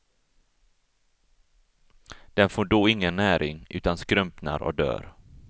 Den får då ingen näring utan skrumpnar och dör.